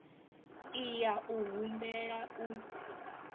i ya u humbela u